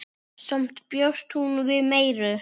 Samt bjóst hún við meiru.